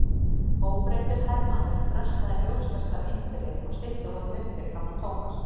Óbreyttur hermaður dröslaði ljóskastara inn fyrir og stillti honum upp fyrir framan Thomas.